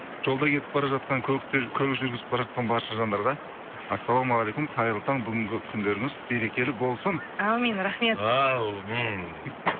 жолда кетіп бар жатқан көлік жүргізіп бара жатқан барша жандарға ассалаумағалейкум қайырлы таң бүгінгі күндеріңіз берекелі болсын әумин рахмет әумин